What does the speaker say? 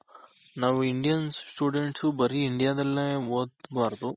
ನಾವ್ Indian students ಬರಿ India ದಲ್ಲೇ ಓದ್ಬಾರ್ದು